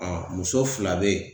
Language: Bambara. Ɔn muso fila be yen